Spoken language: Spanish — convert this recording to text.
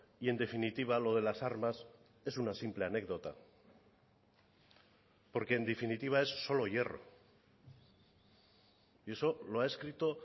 y en definitiva lo de las armas es una simple anécdota porque en definitiva es solo hierro y eso lo ha escrito